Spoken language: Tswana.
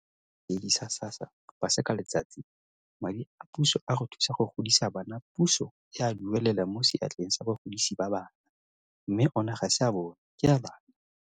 Go ya ka sebueledi sa SASSA Paseka Letsatsi, madi a puso a go thusa go godisa bana puso e a duelela mo seatleng sa bagodisi ba bana, mme ona ga se a bona ke a bana.